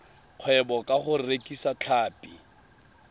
kgwebo ka go rekisa tlhapi